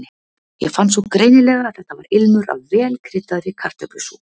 Ég fann svo greinilega að þetta var ilmur af vel kryddaðri kartöflusúpu.